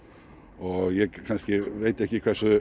og ég kannski veit ekki hversu